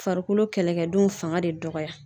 Farikolo kɛlɛkɛdenw fanga de dɔgɔya.